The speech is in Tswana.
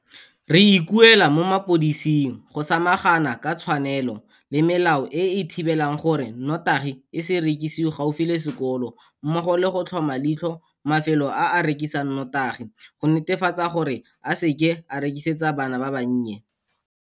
Re ikuela mo mapodising go samagana ka tshwanelo le melao e e thibelang gore notagi e se rekisiwe gaufi le sekolo mmogo le go tlhoma leitlho mafelo a a rekisang notagi go netefatsa gore a se e rekisetse bana ba bannye.